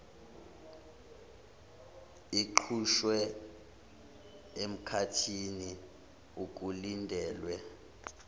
iqhutshwe emkhathini okulindelwe